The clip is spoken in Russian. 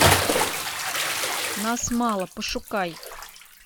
нас мало пошукай